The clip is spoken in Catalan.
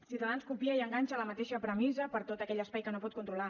ciutadans copia i enganxa la mateixa premissa per a tot aquell espai que no pot controlar